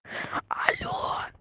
алло